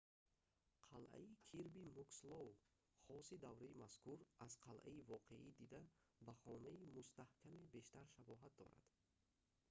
қалъаи кирби мукслоу хоси давраи мазкур аз қалъаи воқеӣ дида ба хонаи мустаҳкаме бештар шабоҳат дорад